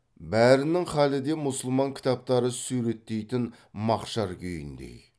бәрінің халі де мұсылман кітаптары суреттейтін мақшар күйіндей